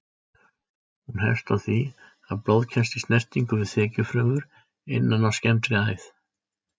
Hún hefst á því að blóð kemst í snertingu við þekjufrumur innan á skemmdri æð.